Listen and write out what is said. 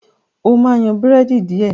ọ má yan Búrẹ́dì diẹ!